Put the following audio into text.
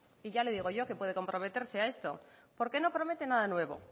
y ya le digo yo que puede comprometerse a esto porque no promete nada nuevo